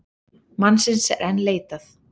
Mannsins er enn leitað.